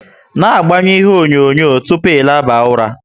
Na agbanyu ihe onyonyo tupu ị laba ụra!